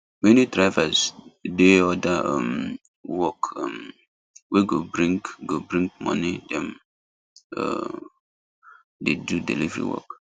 many drivers dey other um work um wey go bring go bring money dem um dey do delivery work